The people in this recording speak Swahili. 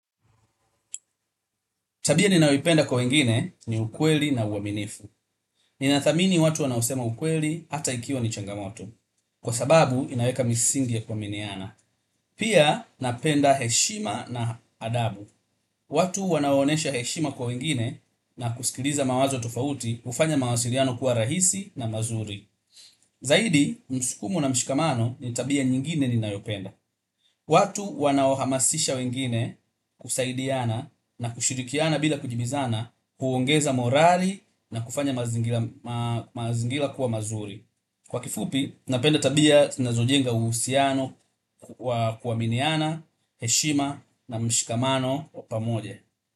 Tabia ninayoipenda kwa wengine ni ukweli na uaminifu. Ninathamini watu wanaosema ukweli hata ikiwa ni changamoto. Kwa sababu inaweka misingi ya kuaminiana. Pia napenda heshima na adabu. Watu wanaoonyesha heshima kwa wengine na kusikiliza mawazo tofauti hufanya mawasiliano kuwa rahisi na mazuri. Zaidi, msukumo na mshikamano ni tabia nyingine ninayopenda. Watu waowahamashisha wengine kusaidiana na kushirikiana bila kujibizana huongeza morali na kufanya mazingira kuwa mazuri kwa kifupi napenda tabia zinazojenga tabia zinazojenga uhusiano wa kuaminiana heshima na mshikamano wa pamoja.